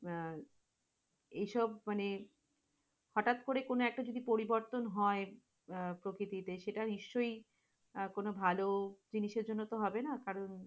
এইসব মানে, হঠাৎ করে কোন একটা যদি পরিবর্তন হয়, আহ প্রকিতিতে সেটা নিশ্চয় আহ কোন ভালো জিনিসের জন্যতো হবে না কারণ,